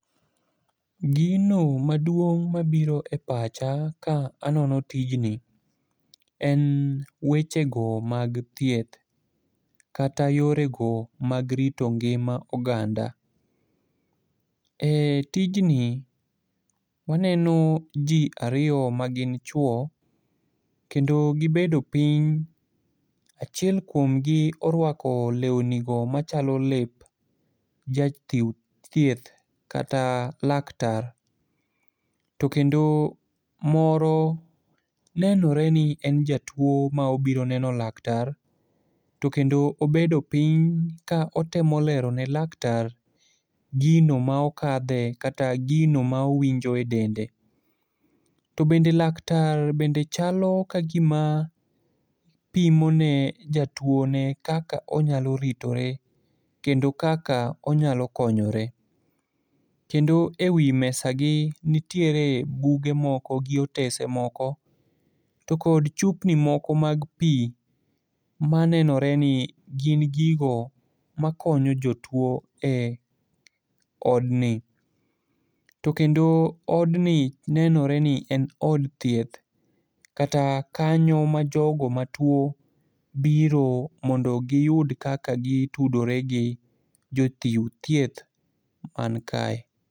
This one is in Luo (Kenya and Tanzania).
Gino maduong' mabiro e pacha ka anono tijni en wechego mag thieth kata yorego mag rito ngima oganda. E tijni, waneno ji ariyo magin chuwo, kendo gibedo piny, achiel kuomgi orwako lewnigo machalo lep jachiw thieth kata laktar, to kendo moro nenore ni en jatuwo ma obiro neno laktar to kendo obedo piny ka otemo lerone laktar gino ma okadhoe kata gino ma owinjo e dende. To bende laktar bende chalo ka gima pimone jatuwone kaka onyalo ritore kendo kaka onyalo konyore, kendo e wi mesagi nitiere buge moko gi otese moko, to kod chupni moko mag pi ma nenore ni gin gigo makonyo jotuwo e odni. To kendo odni nenore ni en od thieth kata kanyo ma jogo matuwo biro mondo giyud kaka gitudore gi jochiw thieth mankae.